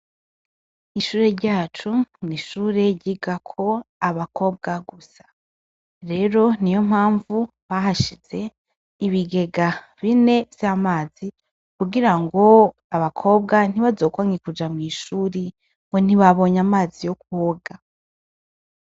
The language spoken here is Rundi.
Ishure ryacu n'ishure ryigako abakobwa gusa rero niyo mpavu bahashize ibigega bine vyamazi kugira abakobwa ntibazokwanke kuja mw'ishure ngo ntibabonye amazi yo kwoga.